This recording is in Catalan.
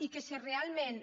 i que si realment